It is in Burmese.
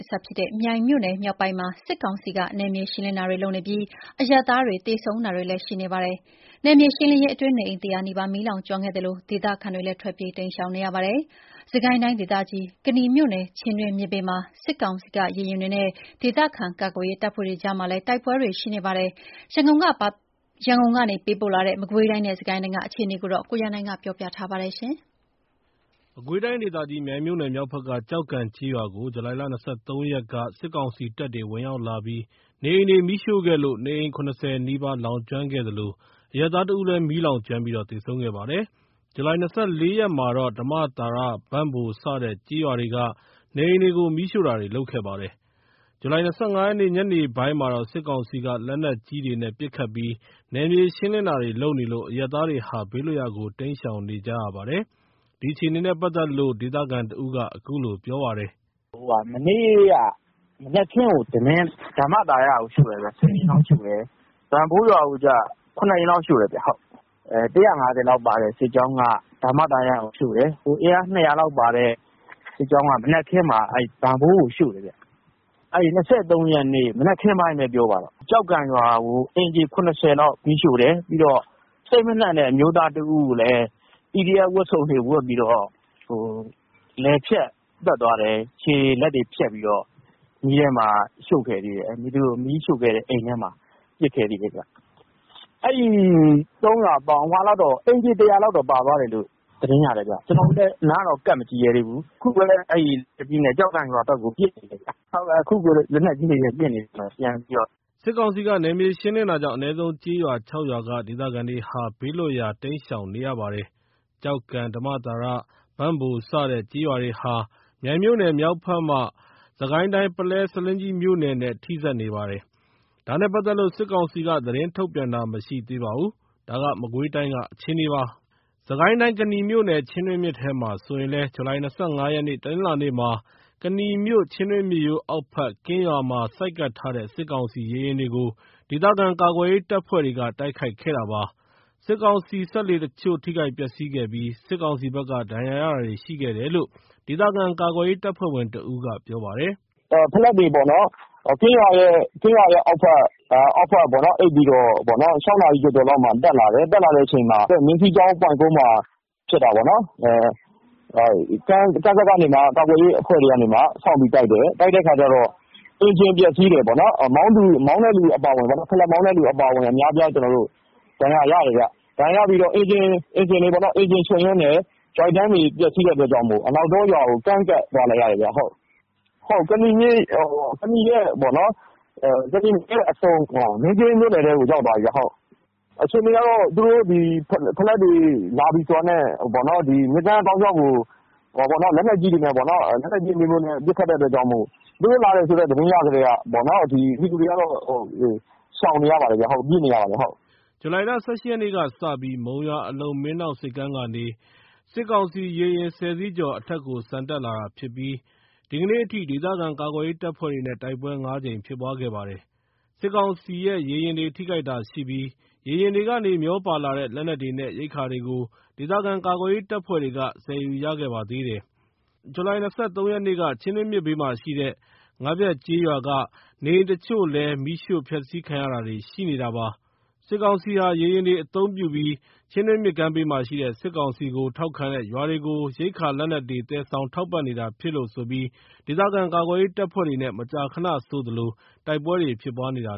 အစပ်ဖြစ်တဲ့ မြိုင်မြို့နယ် မြောက်ပိုင်းမှာ စစ်ကောင်စီက နယ်မြေရှင်းလင်းတာတွေလုပ်နေပြီး အရပ်သားတွေ သေဆုံးတာရှိသလို နေအိမ် ၁၀၀ နီးပါး မီးလောင်ကျွမ်းခဲ့တဲ့အတွက်ကြောင့် ဒေသခံတွေ ထွက်ပြေး တိမ်းရှောင်နေရပါတယ်။ စစ်ကိုင်းတိုင်းဒေသကြီး ကနီမြို့နယ် ချင်းတွင်းမြစ်ဘေးမှာ စစ်ကောင်စီ ရေယာဉ်တွေနဲ့ ဒေသခံကာကွယ်ရေး တပ်ဖွဲ့တွေ တိုက်ပွဲတွေလည်းရှိနေပါတယ်။ ရန်ကုန်ကပေးပို့လာတဲ့ မကွေးတိုင်းနဲ့ စစ်ကိုင်းတိုင်းက အခြေအနေကို ကိုရန်နိုင် ကပြောပြပါမယ်။ မကွေးတိုင်းဒေသကြီး မြိုင်မြို့နယ် မြောက်ဖက်က ကျောက်ကန်ကျေးရွာကို ဇူလိုင် ၂၃ ရက်က စစ်ကောင်စီတပ်တွေ ဝင်ရောက်လာပြီးနေအိမ်တွေမီးရှို့ခဲ့လို့ နေအိမ် ၇၀ နီးပါး လောင်ကျွမ်းခဲ့သလို အရပ်သား ၁ ဦးလည်း မီးလောင်ကျွမ်းပြီး သေဆုံးခဲ့ပါတယ်။ ဇူလိုင် ၂၄ ရက်မှာတော့ ဓမ္မသာရ ဘန့်ဘိုး စတဲ့ကျေးရွာတွေက နေအိမ်တွေကို မီးရှို့တာတွေ လုပ်ခဲ့ပါတယ်။ ဇူလိုင် ၂၅ ညနေပိုင်းမှာတော့ စစ်ကောင်စီက လက်နက်ကြီးတွေနဲ့ ပစ်ခတ်ပြီး နယ်မြေရှင်းလင်းတာတွေ လုပ်နေလို့ အရပ်သားတွေဟာ ဘေးလွတ်ရာကို တိမ်းရှောင်နေရပါတယ်။ ဒီအခြေအနေနဲ့ ပတ်သက်လို့ ဒေသခံတဦးက အခုလိုပြောပါတယ်။ “မနေ့ မနက်ခင်းက ဓမ္မသာရကို ၁၀ အိမ်လောက်ရှို့တယ်။ ဘန့်ဘိုးရွာကို ၇ အိမ်လောက်ရှို့တယ်။ ၁၅၀ လောက်ပါတဲ့ စစ်ကြောင်းက ဓမ္မသာရကို ရှို့တယ်။ အင်အား ၂၀၀ လောက်ပါတဲ့ စစ်ကြောင်းက မနက်ခင်းမှာ ဘန့်ဘိုးကိုရှို့တယ်။ ၂၃ ရက်နေ့ မနက်ခင်းပိုင်းပဲပြောပါတော့ ကျောက်ကန်ရွာကို အိမ်ခြေ ၇၀ လောက်မီးရှို့တယ်။ စိတ်မနှံ့တဲ့ အမျိုးသားတဦးကိုလည်း PDF ဝတ်စုံတွေဝတ်ပြီးတော့ လည်ဖြတ်သတ်သွားတယ် ခြေတွေလက်တွေဖြတ်ပြီးတော့ မီးရှို့ခဲ့တယ်။ အိမ်ထဲမှာပစ်ခဲ့သေးတယ်။ အဲ့ ၃ ရွာပေါင်း အိမ်ခြေ ၁၀၀ လောက်ပါသွားတယ်လို့ သတင်းရတယ်။ ကျွန်တော်တို့လည်း အနားမကပ်ရဲသေးဘူး။ အခုပဲ ကျောက်ကန်ရွာဘက်ကို လက်နက်ကြီးတွေနဲ့ပစ်နေတယ်။ အခုကိုပစ်နေတာ။” စစ်ကောင်စီက နယ်မြေရှင်းလင်းတာကြောင့် အနည်းဆုံး ကျေးရွာ ၆ ရွာက ဒေသခံတွေဟာ ဘေးလွတ်ရာ တိမ်းရှောင်နေရပါတယ်။ ကျောင်းကန် ဓမ္မသာရ ၊ ဘန့်ဘိုး စတဲ့ကျေးရွာတွေဟာ မြိုင်မြို့နယ် မြောက်ဖက်မှ စစ်ကိုင်းတိုင်းက ပုလဲ ဆားလင်းကြီးမြို့နယ်နဲ့ ထိစပ်နေပါတယ်။ ဒါနဲ့ပတ်သက်လို့ စစ်ကောင်စီက သတင်းထုတ်ပြန်တာမရှိသေးပါဘူး။ ဒါက မကွေးတိုင်းကအခြေအနေပါ။ စစ်ကိုင်းတိုင်း ကနီမြို့နယ် ချင်းတွင်းမြစ်ထဲမှာ ဆိုရင်လည်း ဇူလိုင် ၂၅ ရက် တနင်္လာနေ့ က ကနီမြို့ ချင်းတွင်းမြစ်ရိုးအောက်ဘက် ကင်းရွာမှာ ဆိုက်ကပ်ထားတဲ့ စစ်ကောင်စီရေယာဉ်တွေကို ဒေသခံကာကွယ်ရေးတပ်ဖွဲ့တွေက တိုက်ခိုက်ခဲ့တာပါ။ စစ်ကောင်စီစက်လှေအချို့ ထိခိုက်ပျက်စီးခဲ့ပြီး စစ်ကောင်စီဘက်က ဒဏ်ရာရတာတွေရှိတယ်လို့ ဒေသခံကာကွယ်ရေး တပ်ဖွဲ့ဝင်တဦးက ပြောပါတယ်။ “ဖလက်တွေပေါ့နော် ကင်းရွာရဲ့အောက်ဖက် အိပ်ပြီးတော့ ၆ နာရီကျော်ကျော်လောက်မှာ တက်လာတယ်။ တက်လာတဲ့အချိန်မှာ မြင်းစီးကြောင်း ပွိုင့်ကုန်း မှာ ဖြစ်တာပေါ့နော်။ ကမ်းစပ်ကနေမှ ကာကွယ်ရေးအဖွဲ့တွေက စောင့်ပြီးတိုက်တယ်။ တိုက်တဲ့အချိန်မှာ အင်ဂျင်ပျက်စီးတယ်။ ဖလက်မောင်းတဲ့သူအပါအဝင် အများအပြား ဒဏ်ရာရတယ်ခင်ဗျ။ အင်ဂျင်တွေချို့ယွင်းတဲ့အတွက်ကြောင့် အနောက်တောရွာကို ကမ်းကပ်သွားရတယ်ခင်ဗျ။ ကနီရဲ့အဆုံး မင်းကင်းမြို့နယ်ထဲကို ရောက်သွားပြီခင်ဗျ။ အခြေအနေကတော့ သူတို့ဖလက်တွေလာပြီဆိုတာနဲ့ လက်နက်ကြီးတွေနဲ့ ပစ်ခတ်တဲ့အတွက်ကြောင့် သူတို့လာတယ်ဆိုတဲ့ သတင်းရကတည်းက ပြည်သူတွေက ရှောင်နေရပါတယ် ပြေးနေရပါတယ်။” ဇူလိုင် ၁၈ ရက်ကစလို့ မုံရွာ အလုံမင်းဒေါင့် ဆိပ်ကမ်းကနေ စစ်ကောင်စီ ရေယာဉ် ၁၀ စီးကျော်ဟာ အထက်ကို ဆန်တက်လာတာဖြစ်ပြီး ဒီကနေ့အထိ ဒေသခံကာကွယ်ရေး တပ်ဖွဲ့တွေနဲ့ တိုက်ပွဲ ၅ ကြိမ် ဖြစ်ပွားခဲ့ပါတယ်။ စစ်ကောင်စီရဲ့ ရေယာဉ်တွေ ထိခိုက်တာရှိပြီး ရေယာဉ်တွေကနေ မျောပါလာတဲ့ လက်နက်တွေနဲ့ ရိက္ခာတွေကို ဒေသခံကာကွယ်ရေး တပ်ဖွဲ့တွေက ဆယ်ယူရခဲ့ပါသေးတယ်။ ဇူလိုင် ၂၃ ရက်က ချင်းတွင်းမြစ်ဘေးမှာရှိတဲ့ ငါးဖျက်ကျေးရွာက နေအိမ်အချို့ကိုလည်း မီးရှို့ဖျက်ဆီးတာတွေလုပ်ခဲ့ပါသေးတယ်။ စစ်ကောင်စီဟာ ရေယာဉ်တွေအသုံးပြုပြီး ချင်းတွင်းမြစ်ကမ်းဘေးမှာရှိတဲ့ စစ်ကောင်စီကို ထောက်ခံတဲ့ ရွာတွေကို ရိက္ခာ လက်နက်တွေ သယ်ဆောင်ထောက်ပံ့နေတာဖြစ်လို့ ဒေသခံကာကွယ်ရေး တပ်ဖွဲ့တွေနဲ့ မကြာခဏဆိုသလို တိုက်ပွဲတွေဖြစ်ပွားနေတာ